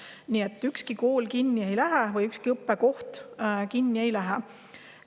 Nii et ükski kool kinni ei lähe, ükski õppekoht kinni ei lähe.